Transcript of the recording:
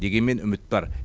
дегенмен үміт бар